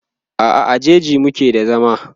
a'a a jaji muke da zama